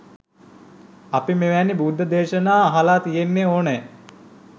අපි මෙවැනි බුද්ධ දේශනා අහලා තියෙන්න ඕන